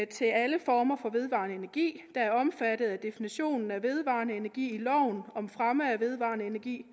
til alle former for vedvarende energi der er omfattet af definitionen på vedvarende energi i loven om fremme af vedvarende energi